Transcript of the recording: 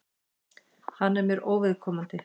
Hann er mér óviðkomandi.